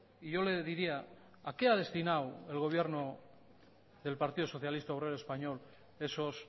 y yo le diría a qué ha destinado el gobierno del partido socialista obrero español esos